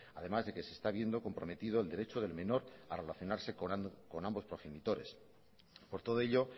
además de que se está viendo comprometido el derecho del menor a relacionarse con ambos progenitores por todo ello